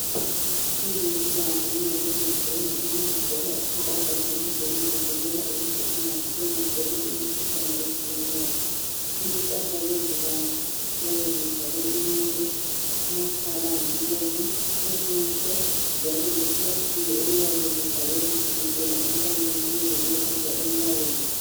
Abezempilakahle nxa besemsebenzini bagqoka impahla zabo zokuzivikela ukuthi bangatholi imikhuhlane etshiyeneyo. Impahla lezi ziyabe zivale inwele, amakhala lemlomo. Ubuso, njalo leplastic eliyabe livable kusukisela entanyeni. Kuze kuyefika enyaweni.